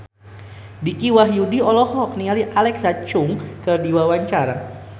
Dicky Wahyudi olohok ningali Alexa Chung keur diwawancara